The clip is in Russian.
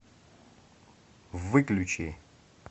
выключи